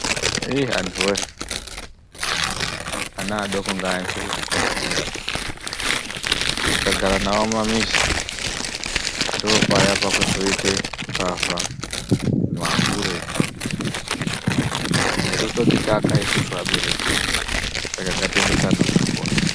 Anhuwee ana adoko ngaaendeswe kuzvikora, tikagara navo mumamizi, ndoopaya pakuzoite mbavha, mahure nekuzootitaka isusu abereki, saka ngatiendese ana kuzvikora.